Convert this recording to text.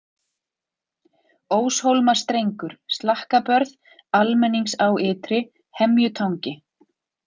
Óshólmastrengur, Slakkabörð, Almenningsá ytri, Hemjutangi